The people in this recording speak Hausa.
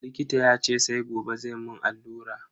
Likita yace sai gobe zai mun allura.